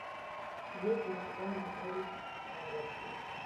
есть ли у тебя анатолий малевский